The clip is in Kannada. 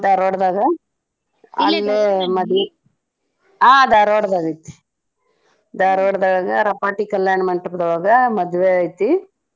ಧಾರ್ವಾಡ್ ದಾಗ ಮದ್ವಿ ಹಾ ಧಾರ್ವಾಡ್ ದಾಗ ಐತಿ ಧಾರ್ವಾಡ್ ದೊಳಗ ರಪಾಟಿ ಕಲ್ಯಾಣ ಮಂಟಪದೊಳಗ ಮದ್ವೆ ಐತಿ.